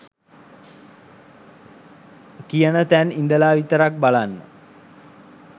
කියන තැන් ඉදලා විතරක් බලන්න.